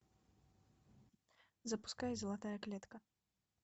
запускай золотая клетка